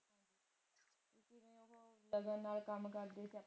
cousin ਨਾਲ ਕਮ ਕਰਦੀ